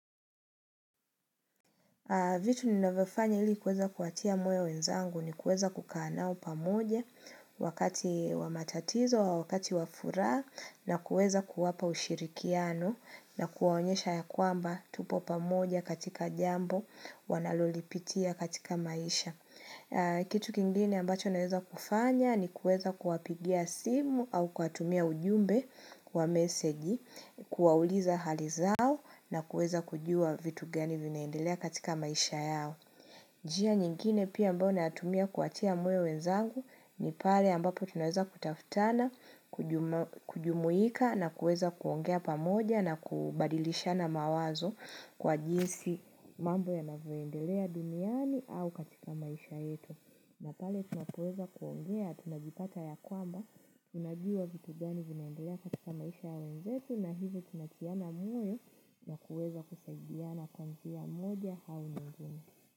Vitu ninavyofanya ili kuweza kuwatia moyo wenzangu ni kuweza kukaa nao pamoja wakati wa matatizo au wakati wa furaha na kuweza kuwapa ushirikiano na kuwaonyesha ya kwamba tupo pamoja katika jambo wanalolipitia katika maisha. Kitu kingine ambacho naweza kufanya ni kuweza kuwapigia simu au kuwatumia ujumbe wa meseji, kuwauliza hali zao na kuweza kujua vitu gani vinaendelea katika maisha yao njia nyingine pia ambao nayatumia kutia moyo wenzangu ni pale ambapo tunaweza kutafutana, kujumuika na kuweza kuongea pamoja na kubadilishana mawazo kwa jinsi mambo yanavyoendelea duniani au katika maisha yetu. Na pale tunapoweza kuongea, tunajipata ya kwamba, tunajua vitu gani vinaendelea katika maisha ya wenzetu na hivyo tunatiana moyo na kuweza kusaidiana kwa njia moja au nyingine.